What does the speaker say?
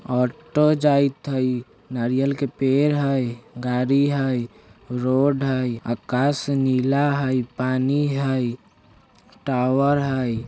ऑटो जाएत हय नारियल के पेड़ हय गाड़ी हय रोड हय अकाश नीला हय पानी हय टॉवर हय।